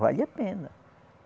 Vale a pena.